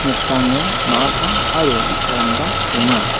nokdango ma·a paa aro bi·sarangba donga.